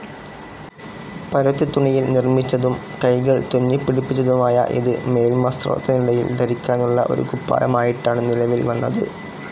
പരുത്തിത്തുണിയിൽ നിർമ്മിച്ചതും കൈകൾ തുന്നിപ്പിടിപ്പിച്ചതുമായ ഇതു മേൽവസ്‌ത്രത്തിനടിയിൽ ധരിക്കാനുള്ള ഒരു കുപ്പായമായിട്ടാണ് നിലവിൽ വന്നത്.